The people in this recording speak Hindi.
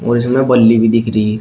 इसमें बल्ली भी दिख रही--